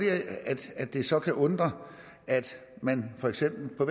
at det så kan undre at man for eksempel